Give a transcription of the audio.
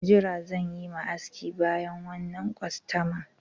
Jira zan yi ma aski bayan wannan kwastaman.